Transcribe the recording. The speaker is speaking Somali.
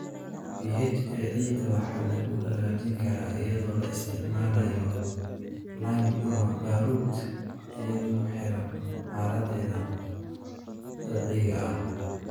pH ee ciidda waxaa lagu hagaajin karaa iyadoo la isticmaalayo lime ama baaruud, iyadoo ku xiran xaaladdeeda dabiiciga ah.